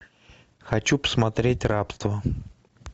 хочу посмотреть рабство